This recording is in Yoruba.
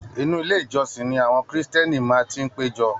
Inú ilé ìjósìn ni àwọn kírísítẹ́nì máa n ti pejọ.